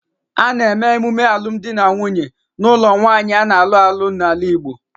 A na-eme emume alum di na nwunye n'ulo nwaanyi a na-alu alu n'ala Igbo